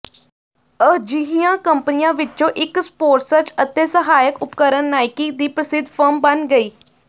ਅਜਿਹੀਆਂ ਕੰਪਨੀਆਂ ਵਿੱਚੋਂ ਇੱਕ ਸਪੋਰਸਰਜ਼ ਅਤੇ ਸਹਾਇਕ ਉਪਕਰਣ ਨਾਈਕੀ ਦੀ ਪ੍ਰਸਿੱਧ ਫਰਮ ਬਣ ਗਈ